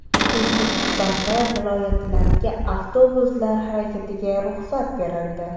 O‘zbekistonda viloyatlararo avtobuslar harakatiga ruxsat berildi.